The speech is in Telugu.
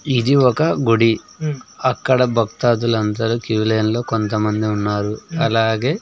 ఇది ఒక గుడి అక్కడ భక్తదులందరు క్యూ లైన్ లో కొంతమంది ఉన్నారు అలాగే--